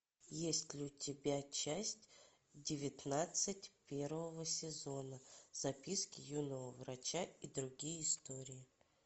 есть ли у тебя часть девятнадцать первого сезона записки юного врача и другие истории